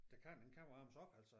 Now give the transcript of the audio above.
Det kan den kan varmes op altså